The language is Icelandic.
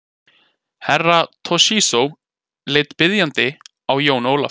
Herra Toshizo leit biðjandi á Jón Ólaf.